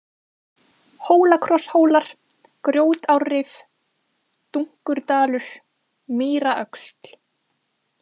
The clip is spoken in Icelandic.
Hólakrosshólar, Grjótárrif, Dunkurdalur, Mýraöxl